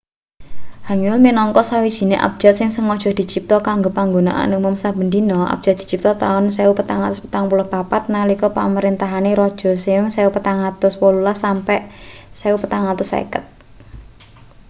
hangeul minangka sawijine abjad sing sengaja dicipta kanggo panggunaan umum saben dina. abjad dicipta ing taun 1444 nalika pamrentahane raja sejong 1418 - 1450